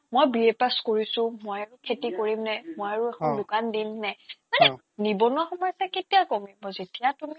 মই BA pass কৰিছো মই আৰু খেতি কৰিম নে অ মই আৰু দোকান দিম নে অ মানে নিবনুৱা সমস্যা কেতিয়া কমিব যেতিয়া তুমি